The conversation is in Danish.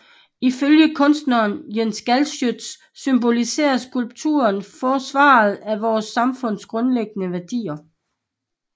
Ifølge kunstneren Jens Galschiøt symboliserer skulpturen forsvaret af vores samfunds grundlæggende værdier